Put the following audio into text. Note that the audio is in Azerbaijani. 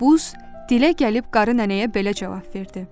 Buz dilə gəlib qarı nənəyə belə cavab verdi: